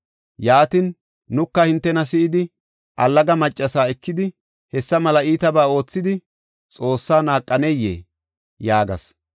Yaatin, nuka hintena si7idi, allaga maccasa ekidi hessa mela iitabaa oothidi Xoossaa naaqaneyee?” yaagas.